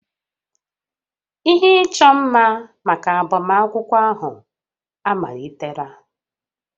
Ihe ịchọ mma maka agbamakwụkwọ ahụ amalitela